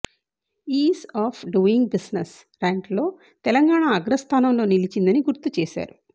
is of doing business ర్యాంక్లో తెలంగాణ అగ్రస్థానంలో నిలిచిందని గుర్తు చేశారు